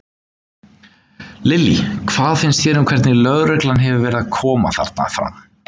Lillý: Hvað finnst þér um hvernig lögreglan hefur verið að koma þarna fram?